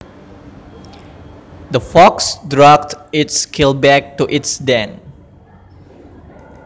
The fox dragged its kill back to its den